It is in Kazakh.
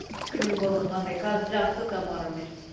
қиын болды қандай қазір жақса тамарамен